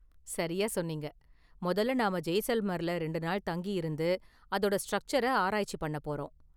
சரியா சொன்னீங்க! முதல்ல நாம ஜெய்சல்மர்ல ரெண்டு நாள் தங்கி இருந்து அதோட ஸ்ட்ரக்சர ஆராய்ச்சி பண்ண போறோம்.